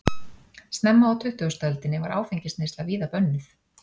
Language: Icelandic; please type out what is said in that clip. snemma á tuttugustu öldinni var áfengisneysla víða bönnuð